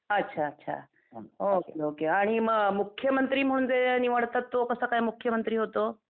अच्छा अच्छा okay okay आणि मग मुख्यमंत्री म्हणजे निवडतात तो कसा काय मुख्यमंत्री होतो?